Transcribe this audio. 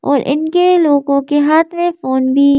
और इनके लोगों के हाथ में फोन भी--